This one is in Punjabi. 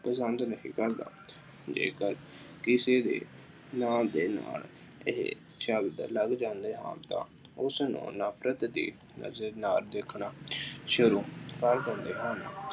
ਪਸੰਦ ਨਹੀਂ ਕਰਦਾ। ਜੇਕਰ ਕਿਸੇ ਦੇ ਨਾਂ ਦੇ ਨਾਲ ਇਹ ਚੱਲ ਪੈਂਦਾ ਹੈ, ਉਸਨੂੰ ਨਫਰਤ ਦੇ ਨਜ਼ਰ ਨਾਲ ਦੇਖਣਾ ਸ਼ੁਰੂ ਕਰ ਦਿੰਦੇ ਹਨ।